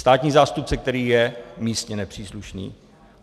Státní zástupce, který je místně nepříslušný.